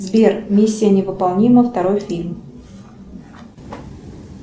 сбер миссия невыполнима второй фильм